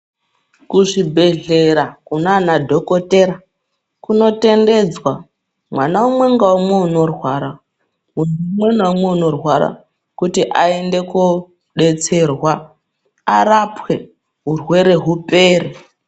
Kuzvibhehlera kunana dhokotera kunotendedzwa mwana umwe ngaumwe unorwara umwe naumwe unorwara kuti aende kudetserwa arapwe urwere upere.